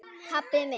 pabbi minn